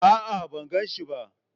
A'a, ban gan shi ba.